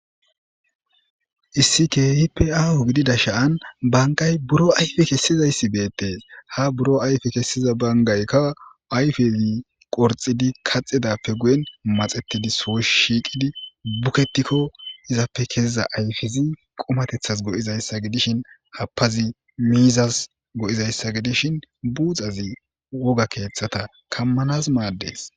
Issi keehippe aaho gididashan banththay buro ayfe kessizayssi beeththees; ha buro ayfe kessiza banggaykka ayfezi qorxxizi kaxxidappe guye maxeththidi son shiiqidi bukethiko ethappe keyiza ayfezi qumatheththaas go7izayssa gidishin ha galabi miizzas go7izayssa gidishin buuxazi woga keeththazan kammanas maaddes.